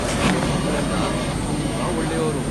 ಅಲ್ಲಿರೋ ಮಕ್ಳೆಲ್ಲ ತುಂಬಾ ಒಳ್ಳೆಯೋರು.